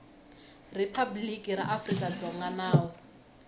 riphabliki ra afrika dzonga nawu